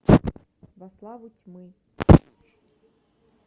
во славу тьмы